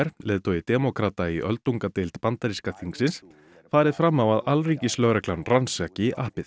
leiðtogi demókrata í öldungadeild bandaríska þingsins farið fram á að alríkislögreglan rannsaki appið